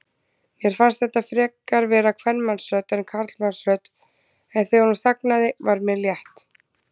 Mér fannst þetta frekar vera kvenmannsrödd en karlmannsrödd, en þegar hún þagnaði var mér létt.